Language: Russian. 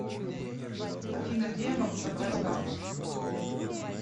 афина где я могу забрать карту